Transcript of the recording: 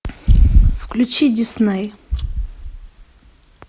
включи дисней